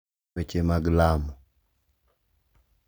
Weche mag lamo,